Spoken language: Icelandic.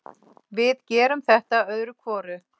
Við gerum þetta öðru hvoru.